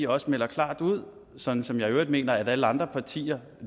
også melder klart ud sådan som jeg i øvrigt mener at alle andre partier